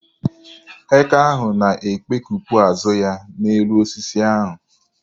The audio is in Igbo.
Eke ahụ na-ekpekepụ azụ ya n'elu osisi ahụ.